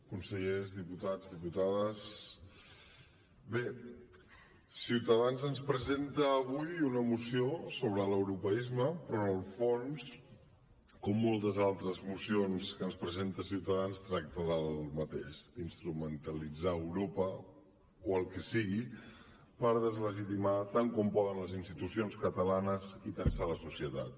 consellers diputats diputades bé ciutadans ens presenta avui una moció sobre l’europeisme però en el fons com moltes altres mocions que ens presenta ciutadans tracta del mateix d’instrumentalitzar europa o el que sigui per deslegitimar tant com poden les institucions catalanes i tensar la societat